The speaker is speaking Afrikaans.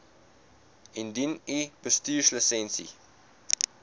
indien u bestuurslisensie